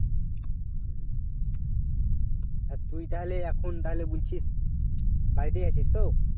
হ্যাঁ তুই তাহলে এখন তাহলে বলছিস বাড়িতে আছিস তো